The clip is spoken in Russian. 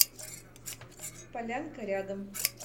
полянка рядом